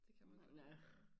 Det kan man godt nogen gange